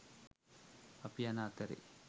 අපි යන අතරේ